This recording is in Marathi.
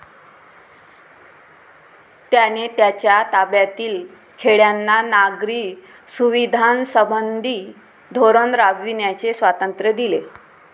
त्याने त्याच्या ताब्यातील खेड्यांना नागरी सुविधांसंबंधी धोरण राबविण्याचे स्वातंत्र्य दिले.